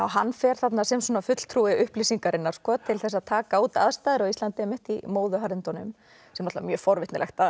hann fer þarna sem svona fulltrúi upplýsingarinnar til að taka út aðstæður á Íslandi í móðuharðindunum sem er mjög forvitnilegt að